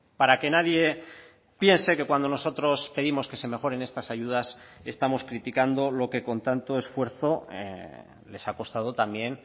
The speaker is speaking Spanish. para que nadie piense que cuando nosotros pedimos que se mejoren estas ayudas estamos criticando lo que con tanto esfuerzo les ha costado también